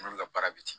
N'olu ka baara bɛ ten